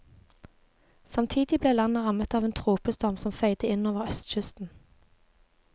Samtidig ble landet rammet av en tropestorm som feide inn over østkysten.